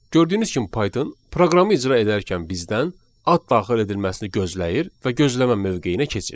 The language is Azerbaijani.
Gördüyünüz kimi Python proqramı icra edərkən bizdən ad daxil edilməsini gözləyir və gözləmə mövqeyinə keçir.